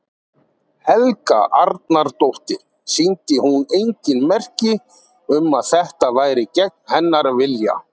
Helga Arnardóttir: Sýndi hún engin merki um að þetta væri gegn hennar vilja?